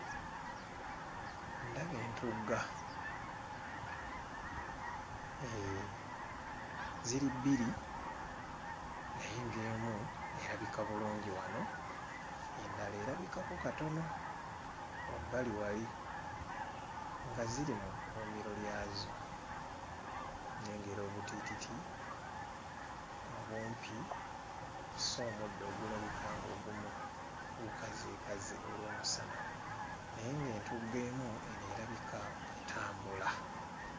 Ndaba entugga eh ziri bbiri naye ng'emu erabika bulungi wano endala erabikako katono wabbali wali nga ziri mu kkuumiro lyazo nnengera obutiititi obumpi kw'ossa omuddo ogulabika ng'ogumu gukazeekaze olw'omusana naye ng'entugga emu eno erabika etambula.